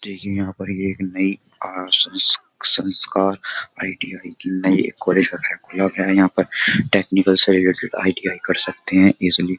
देखिए यहां पर ये एक नई संस्कार आईडी की नई एक कॉलेज वगैरह खोला गया है यहां पर टेक्निकल से रिलेटेड आईडीआई कर सकते हैं इजली --